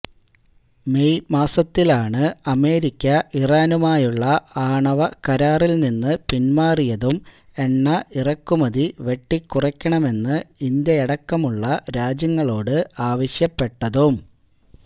May മാസത്തിലാണ് America ഇറാനുമായുള്ള ആണവകരാറിൽനിന്ന് പിന്മാറിയതും എണ്ണ ഇറക്കുമതി വെട്ടിക്കുറയ്ക്കണമെന്ന് ഇന്ത്യയടക്കമുള്ള രാജ്യങ്ങളോട് ആവശ്യപ്പെട്ടതും